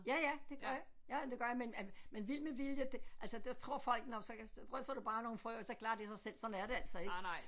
Ja ja det gør jeg ja det gør jeg men med vild med vilje det altså der tror folk nåh men så kan så drysser du bare nogle frø og så klarer det sig selv sådan er det altså ikke